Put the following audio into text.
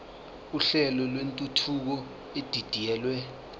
uhlelo lwentuthuko edidiyelwe